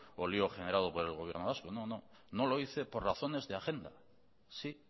o lío generado por el gobierno vasco no no no lo hice por razones de agenda sí